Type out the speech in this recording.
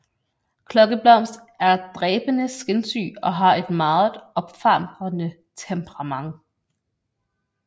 Klokkeblomst er dræbende skinsyg og har et meget opfarende temperament